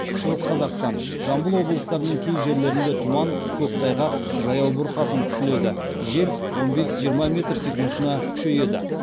шығыс қазақстан жамбыл облыстарының кей жерлерінде тұман көктайғақ жаяу бұрқасын күтіледі жел он бес жиырма метр секундына күшейеді